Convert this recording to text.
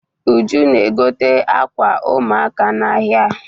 Uju na-egote ákwà ụmụaka n'ahịa.